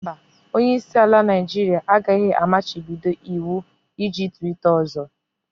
Mba, Onye isi ala Naijiria agaghị amachibido iwu iji twitter ọzọ.